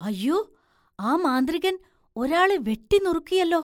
അയ്യോ, ആ മാന്ത്രികൻ ഒരാളെ വെട്ടിനുറുക്കിയെല്ലോ!